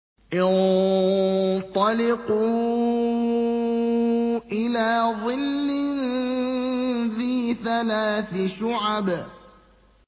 انطَلِقُوا إِلَىٰ ظِلٍّ ذِي ثَلَاثِ شُعَبٍ